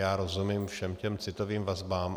Já rozumím všem těm citovým vazbám.